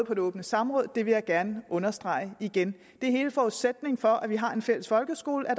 på det åbne samråd og det vil jeg gerne understrege igen hele forudsætningen for at vi har en fælles folkeskole er